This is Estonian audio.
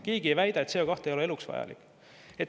Keegi ei väida, et CO2 ei ole eluks vajalik.